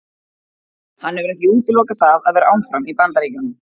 Hann hefur ekki útilokað það að vera áfram í Bandaríkjunum.